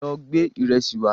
Lọ gba ìrẹsì wá